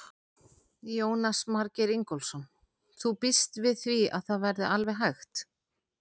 Jónas Margeir Ingólfsson: Þú býst við því að það verði alveg hægt?